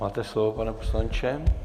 Máte slovo, pane poslanče.